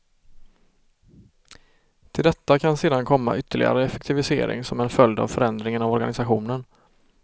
Till detta kan sedan komma ytterligare effektivisering som en följd av förändringen av organisationen.